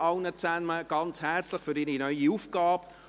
Ich gratuliere allen ganz herzlich zu ihrer neuen Aufgabe.